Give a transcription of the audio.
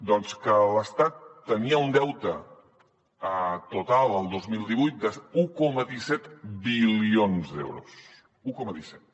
doncs que l’estat tenia un deute total el dos mil divuit d’un coma disset bilions d’euros un coma disset